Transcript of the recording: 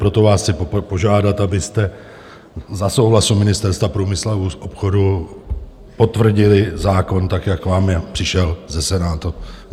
Proto vás chci požádat, abyste za souhlasu Ministerstva průmyslu a obchodu potvrdili zákon tak, jak vám přišel ze Senátu.